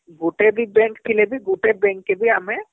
ଗୁଟେ ବି bank ଥିଲେ ବି ଗୁଟେ bank କେ ବି ଆମେ